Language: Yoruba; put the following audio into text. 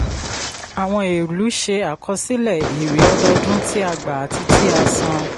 àwọn ìlú ṣe àkọsílẹ̀ èrè ọdọdún tí a gbà àti tí a san.